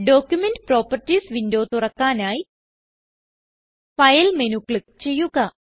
document properties window തുറക്കാനായി file menu click ചെയ്യുക